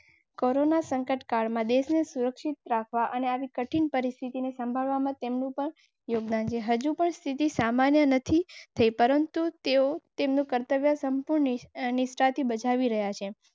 આ કોરોના કાળમાં જો તમામ ચીજવસ્તુઓ, સેવાઓ સરળતાથી મળી રહેતી હતી. બરના કર્મચારી તેમજ સેવક આપના કોરોના યોદ્ધા રૂપે બિરદાવવા જોઇએ.